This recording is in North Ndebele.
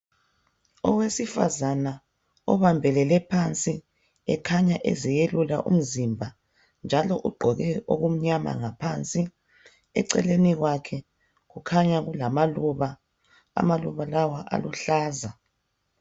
Owesifazana obambelele phansi ekhanya eziyelula umzimba njalo ugqoke okumnyama ngaphansi. Eceleni kwakhe kukhanya kulamaluba, amaluba lawa aluhlaza.